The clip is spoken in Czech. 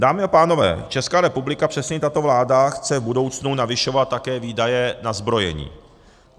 Dámy a pánové, Česká republika, přesněji tato vláda chce v budoucnu navyšovat také výdaje na zbrojení.